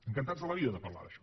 encantats de la vida de parlar d’això